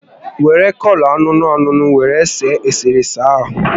Were kọlọ ańuńuu ańuńuu were see eserese ahụ